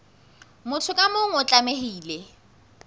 motho ka mong o tlamehile